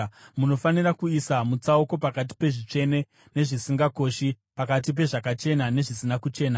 Munofanira kuisa mutsauko pakati pezvitsvene nezvisingakoshi, pakati pezvakachena nezvisina kuchena.